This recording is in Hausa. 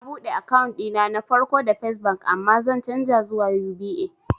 Na buɗe akant ɗina na farko da fes bank amma zan canja zuwa UBA